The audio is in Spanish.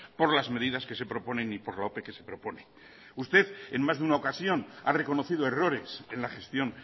por las medidas que se proponen y por la ope que se propone usted en más de una ocasión ha reconocido errores en la gestión